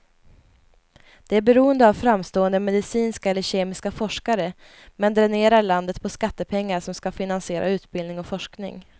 Det är beroende av framstående medicinska eller kemiska forskare, men dränerar landet på skattepengar som ska finansiera utbildning och forskning.